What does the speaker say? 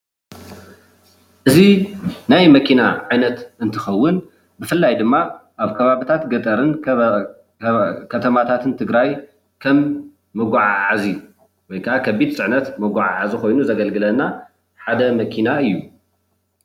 እዚ ናይ መኪና ዓይነት እንትከውን ብፍላይ ድማ ኣብ ከባቢታት ገጠርን ከተማታትን ትግራይ ከም መጓዓዓዚ ወይ ከዓ ከቢድ ፅዕነት መጓዓዓዚ ኮይኑ ዘገልግለና ሓደ መኪና እዩ፡፡